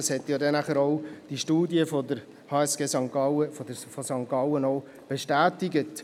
Das wurde dann auch von der Studie der HSG St. Gallen bestätigt.